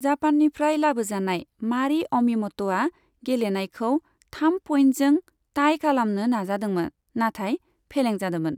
जापाननिफ्राय लाबोजानाय मारी अमिमत'आ गेलेनायखौ थाम पइन्टजों टाइ खालामनो नाजादोंमोन, नाथाय फेलें जादोंमोन।